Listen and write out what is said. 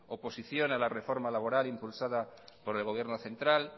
oposición a la reforma laboral impulsada por el gobierno central